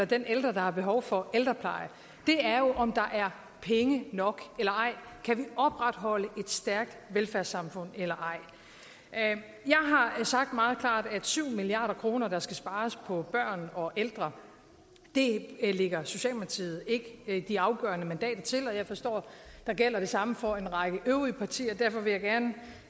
den ældre der har behov for ældrepleje det er jo om der er penge nok eller ej kan vi opretholde et stærkt velfærdssamfund eller ej jeg har sagt meget klart at syv milliard kr der skal spares på børn og ældre lægger socialdemokratiet ikke de afgørende mandater til og jeg forstår at der gælder det samme for en række øvrige partier derfor vil jeg